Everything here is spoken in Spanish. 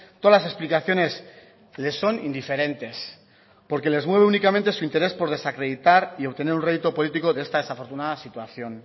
todas las explicaciones le son indiferentes porque les mueve únicamente su interés por desacreditar y obtener un rédito político de esta desafortunada situación